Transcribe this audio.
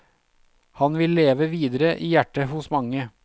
Han vil leve videre i hjertet hos mange.